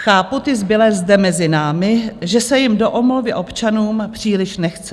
Chápu ty zbylé zde mezi námi, že se jim do omluvy občanům příliš nechce.